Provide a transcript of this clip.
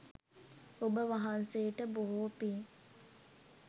ඔබ වහන්සේට බොහෝ පින්